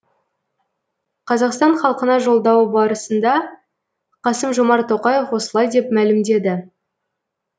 қазақстан халқына жолдауы барысында қасым жомарт тоқаев осылай деп мәлімдеді